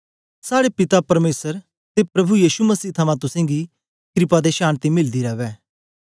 साड़े पिता परमेसर ते प्रभु यीशु मसीह थमां तुसेंगी क्रपा ते शान्ति मिलदी रवै